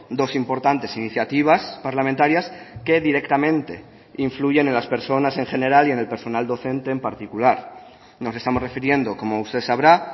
dos importantes iniciativas parlamentarias que directamente influyen en las personas en general y en el personal docente en particular nos estamos refiriendo como usted sabrá